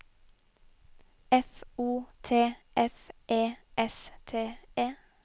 F O T F E S T E